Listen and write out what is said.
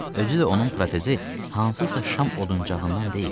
Özü də onun protezi hansısa şam oduuncağından deyil.